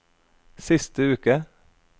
siste uke